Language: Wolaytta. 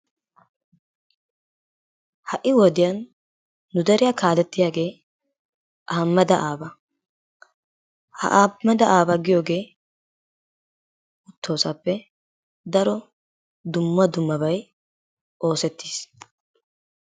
Ha'i wodiyaan nu deeriyaa kalettiyaagee Ahimmeda Aaba. Ha Ahimeeda Aaba giyoogee uttoosoappe daro dumma dummabay oossettiis.